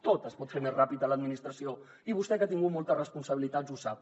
tot es pot fer més ràpid a l’administració i vostè que ha tingut moltes responsabilitats ho sap